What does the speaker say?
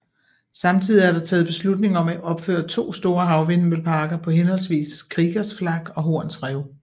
Samtidig er der taget beslutning om at opføre to store havvindmølleparker på henholdsvis Kriegers Flak og Horns Rev